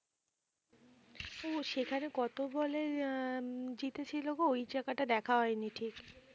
ও সেখানে কত বলে হম জিতেছিল গো ওই জায়গাটা দেখা হয়নি ঠিক